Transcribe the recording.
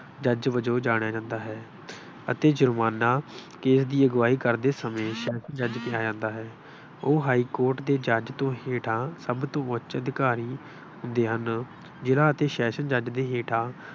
ਜੱਜ ਵਜੋਂ ਜਾਣਿਆਂ ਜਾਂਦਾ ਹੈ ਅਤੇ ਜੁਰਮਾਨਾ ਕੇਸ ਦੀ ਅਗਵਾਈ ਕਰਦੇ ਸਮੇਂ ਜੱਜ ਕਿਹਾ ਜਾਂਦਾ ਹੈ। ਉਹ ਹਾਈ ਕੋਰਟ ਦੇ ਜੱਜ ਤੋਂ ਹੇਠਾਂ ਸਭ ਤੋਂ ਉੱਚ ਅਧਿਕਾਰੀ ਹੁੰਦੇ ਹਨ। ਜਿਲ੍ਹਾ ਅਤੇ ਸੈਸ਼ਨ ਜੱਜ ਦੇ ਹੇਠਾਂ